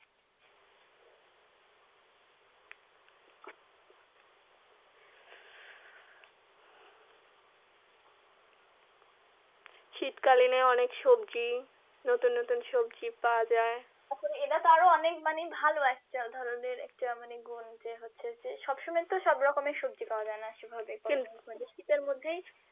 শীতকালীন অনেক সবজি নতুন নতুন সবজি পাওয়া যাই এটা তো আরো অনেক মানে ভালো একটা ধরণের একটা ভালো গুন্ মানে হচ্ছে যে সবসময় তো সব রকমের সবজি পাওয়া যাই না শীতের মধ্যেই